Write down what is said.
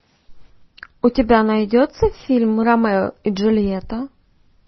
у тебя найдется фильм ромео и джульетта